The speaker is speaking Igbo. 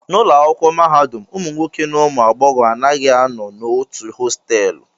N'ụlọ akwụkwọ mahadum, ụmụ nwoke na ụmụ agbọghọ anaghị anọ n'otu hostelụ